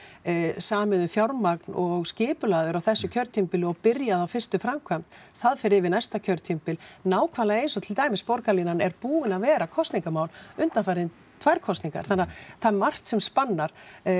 samið um fjármagn og skipulagður á þessu kjörtímabili og byrjað á fyrstu framkvæmd það fer yfir á næsta kjörtímabil nákvæmlega eins og borgarlínan er búin að vera kosningamál undanfarnar tvær kosningar þannig að það er margt sem spannar